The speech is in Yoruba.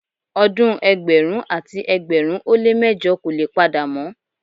Odun ẹgbẹ̀rún àti ẹgbẹ̀rin ó lé mẹ́jọ kò le padà mọ́.